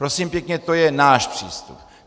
Prosím pěkně, to je náš přístup.